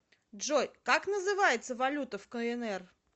джой как называется валюта в кнр